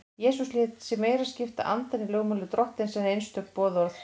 Jesús lét sig meira skipta andann í lögmáli Drottins en einstök boðorð.